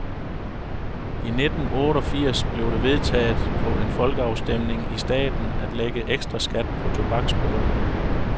I nitten otteogfirs blev det vedtaget på en folkeafstemning i staten at lægge ekstra skat på tobaksprodukter.